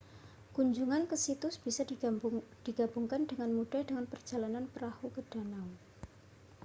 kunjungan ke situs bisa digabungkan dengan mudah dengan perjalanan perahu ke danau